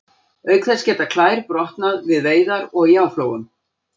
Auk þess geta klær brotnað við veiðar og í áflogum.